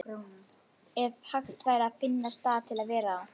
Ef hægt væri að finna stað til að vera á.